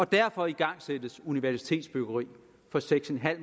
derfor igangsættes universitetsbyggeri for seks en halv